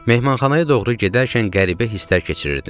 Mehmanxanaya doğru gedərkən qəribə hisslər keçirirdim.